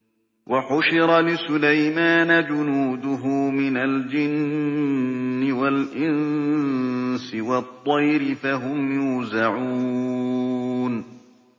وَحُشِرَ لِسُلَيْمَانَ جُنُودُهُ مِنَ الْجِنِّ وَالْإِنسِ وَالطَّيْرِ فَهُمْ يُوزَعُونَ